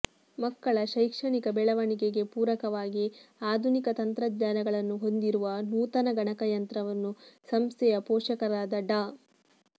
ಮಕ್ಕಳ ಶೈಕ್ಷಣಿಕ ಬೆಳವಣಿಗೆಗೆ ಪೂರಕವಾಗಿ ಆಧುನಿಕ ತಂತ್ರಜ್ಞಾನಗಳನ್ನು ಹೊಂದಿರುವ ನೂತನ ಗಣಕಯಂತ್ರವನ್ನು ಸಂಸ್ಥೆಯ ಪೋಷಕರಾದ ಡಾ